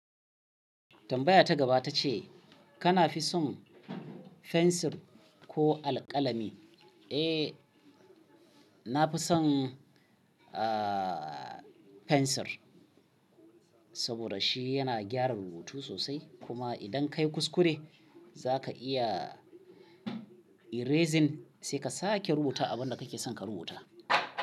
Tambaya ta gaba ta ce kana fi son fensir ko alƙalami? Eh, na fi son, fensir saboda shi yana gyara rubutu sosai. Kuma idan kayi kuskure za ka iya erasing sai ka sake rubuta abin da kake son ka rubuta.